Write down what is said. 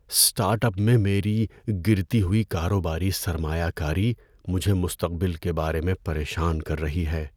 Start up میں میری گرتی ہوئی کاروباری سرمایہ کاری مجھے مستقبل کے بارے میں پریشان کر رہی ہے۔